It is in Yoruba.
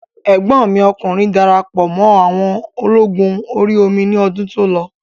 Ẹ̀gbọ́n mi ọkùnrin darapọ̀ mọ́ àwọn ológun orí omi ní ọdún tó lọ